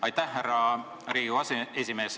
Aitäh, härra Riigikogu aseesimees!